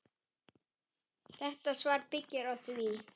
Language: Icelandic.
Þetta svar byggir á því.